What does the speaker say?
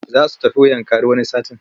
Za su tafi Yankari wani satin.